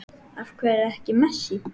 Af hverju ekki Messi?